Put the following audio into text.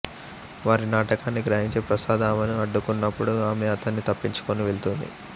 వారి నాటకాన్ని గ్రహించి ప్రసాద్ ఆమెను అడ్డుకున్నపుడు ఆమె అతన్ని తప్పించుకుని వెళ్తుంది